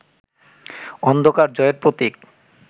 অন্ধকার জয়ের প্রতীক